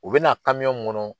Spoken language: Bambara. U bɛna mun ŋɔnɔ